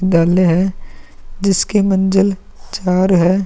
है जिसकी मंजिल चार हैं।